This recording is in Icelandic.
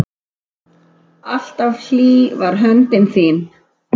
Alltaf hlý var höndin þín.